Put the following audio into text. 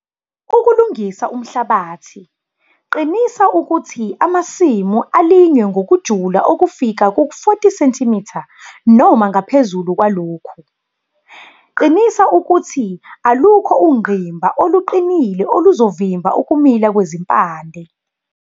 Ukulungisa umhlabathi - qinisa ukuthi amasimu alinywe ngokujula okufika ku-40 cm noma ngaphezu kwalokhu, qinisa ukuthi alukho ungqimba oluqinile oluzovimba ukumila kwezimpande.